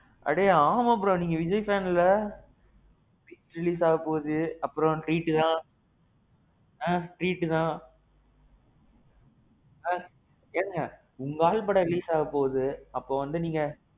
அட ஆமா bro. நீங்க விஜய் fan இல்ல? night release ஆக போகுது. அப்பறோம் என்ன treat தான். ஆ. treat தான். ஆ. ஏனுங்க. உங்க ஆள் படம் release ஆக போகுது. அப்போ வந்து நீங்க.